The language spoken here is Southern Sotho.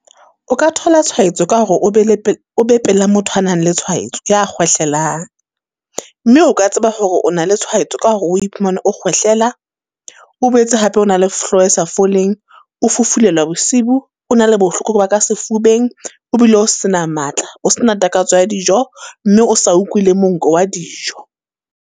O ka thola tshwaetso ka hore o be le o be pela motho a nang le tshwaetso, ya kgwehlelang. Mme o ka tseba hore o na le tshwaetso ka hore o iphumane o kgwehlela, o boetse hape o na le hloho e sa foleng, o fufulelwa bosiu, o na le bohloko ba ka sefubeng, o bile o sena matla. O sena takatso ya dijo mme o sa utlwi le monko wa dijo.